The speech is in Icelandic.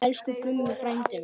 Elsku Gummi frændi minn.